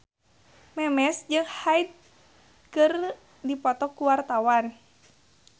Memes jeung Hyde keur dipoto ku wartawan